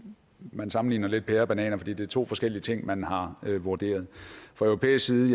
man sammenligner lidt pærer med bananer fordi det er to forskellige ting man har vurderet fra europæisk side